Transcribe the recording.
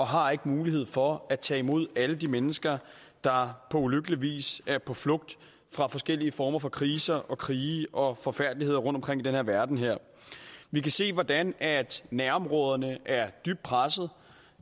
har mulighed for at tage imod alle de mennesker der på ulykkelig vis er på flugt fra forskellige former for kriser og krige og forfærdeligheder rundtomkring i den her verden vi kan se hvordan nærområderne er dybt presset